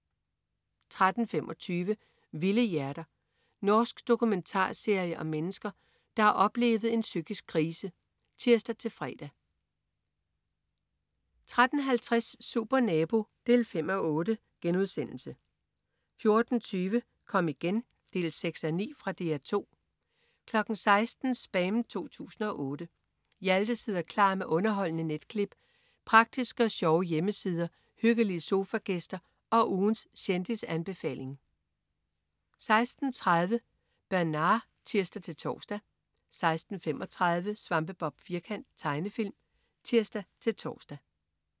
13.25 Vilde hjerter. Norsk dokumentarserie om mennesker, der har oplevet en psykisk krise (tirs-fre) 13.50 Supernabo 5:8* 14.20 Kom igen 6:9. Fra DR 2 16.00 SPAM 2008. Hjalte sidder klar med underholdende netklip, praktiske og sjove hjemmesider, hyggelige sofagæster og ugens kendisanbefaling 16.30 Bernard (tirs-tors) 16.35 Svampebob Firkant. Tegnefilm (tirs-tors)